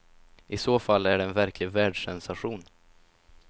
I så fall är det en verklig världssensation.